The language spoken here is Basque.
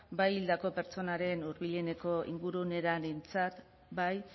bai hildako pertsonaren hurbileneko ingurunearentzat bai